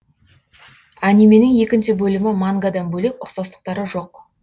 анименің екінші бөлімі мангадан бөлек ұқсастықтары жоқ